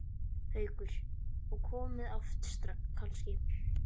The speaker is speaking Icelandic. Haukur: Og komið oft kannski?